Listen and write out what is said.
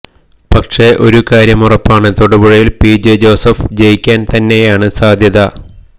പക്ഷേ ഒരു കാര്യമുറപ്പാണ് തൊടുപുഴയിൽ പിജെ ജോസഫ് ജയിക്കാൻ തന്നെയാണ് സാധ്യത